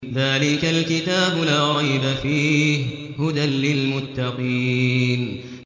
ذَٰلِكَ الْكِتَابُ لَا رَيْبَ ۛ فِيهِ ۛ هُدًى لِّلْمُتَّقِينَ